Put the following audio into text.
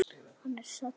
Er hann saddur?